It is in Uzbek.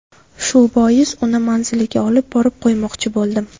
Shu bois uni manziliga olib borib qo‘ymoqchi bo‘ldim.